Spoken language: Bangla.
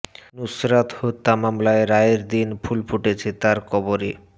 নুসরাত হত্যা মামলার রায়ের দিন ফুল ফুটেছে তার কবরে